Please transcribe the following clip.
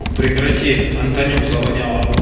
прекрати антонюк завонял